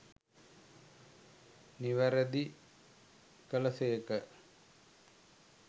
නිවැරැදි කළ සේක.